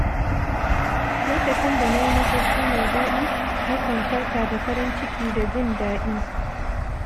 Lokacin da na yi mafarki mai daɗi, na kan farka da farin ciki da jin daɗi.